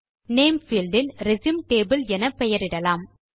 name field இல் resume table என பெயரிடலாம்